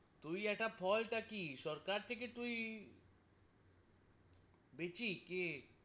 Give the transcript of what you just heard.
তুই একটা ফলটা কি সরকার থেকে তুই দিছি কে?